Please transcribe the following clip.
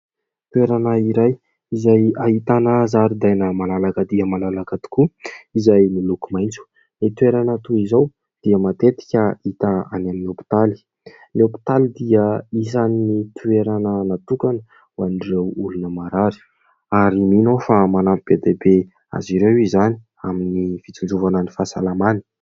Toerana iray izay ahitana zaridaina malalaka dia malalaka tokoa izay miloko maitso. Ny toerana toy izao dia matetika hita any amin'ny hopitaly. Ny hopitaly dia isan'ny toerana natokana ho an'ireo olona marary. Ary mino aho fa manampy be dia be azy ireo izany amin'ny fitsinjovana ny fahasalamany.